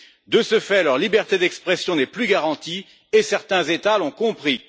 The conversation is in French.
De ce fait, leur liberté d'expression n'est plus garantie et certains États l'ont compris.